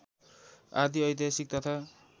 आदि ऐतिहासिक तथा